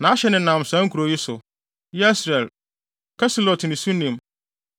Nʼahye nenam saa nkurow yi so: Yesreel, Kesulot ne Sunem,